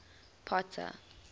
potter